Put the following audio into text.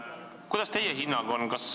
Kuidas teie hinnang on?